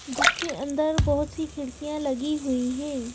जिसके अंदर बहुत सी खिड़कियां लगी हुई हैं।